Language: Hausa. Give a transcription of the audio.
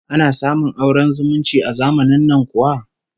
Ana samun auren zumunci a zamanin nan kuwa?